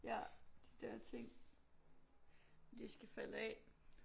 Ja de der ting det skal falde af